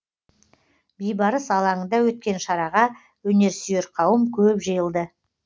бейбарыс алаңында өткен шараға өнерсүйер қауым көп жиылды